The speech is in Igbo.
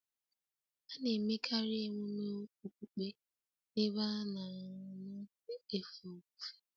A na-emekarị emume okpukpe n'ebe a na-anọ efe ofufe